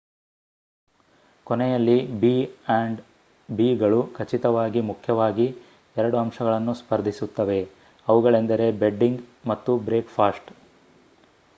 ಕೊನೆಯಲ್ಲಿ B and ಬಿಗಳು ಖಚಿತವಾಗಿ ಮುಖ್ಯವಾಗಿ 2 ಅಂಶಗಳನ್ನು ಸ್ಫರ್ಧಿಸುತ್ತವೆ: ಅವುಗಳೆಂದರೆ ಬೆಡ್ಡಿಂಗ್ ಮತ್ತು ಬ್ರೇಕ್‌ಫಾಸ್ಟ್‌